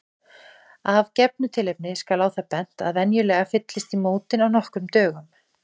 Af gefnu tilefni skal á það bent að venjulega fyllist í mótin á nokkrum dögum.